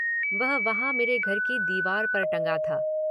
वह वहांँ मेरे घर की दीवार पर टंगा था।